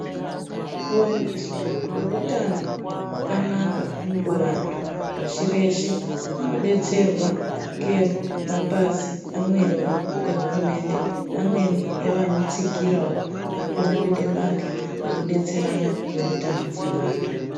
Kuwaniswa kweutano hwakanakakuvantu pashi reshe kunodetserwa ngemapazi ehurumende, amweniwo vanotsigire, vanokona kuite bandhla rekuona ngezveutano hweantu.